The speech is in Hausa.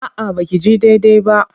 A'a ba ki ji daidai ba.